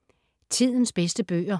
Tidens bedste bøger